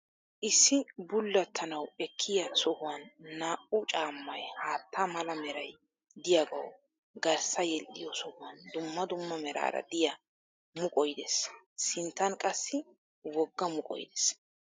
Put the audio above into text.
Issi bullattanwu ekkiya sohuwan naa"u caammay haatta mala meray diyagawu garssa yedhdhiyo sohuwan dumma dumma meraara diya muqoy des. Sinttan qassi wogga muqoy des.